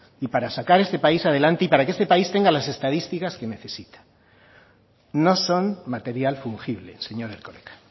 y para sacar este país adelante y para que este país tenga las estadísticas que necesita no son material fungible señor erkoreka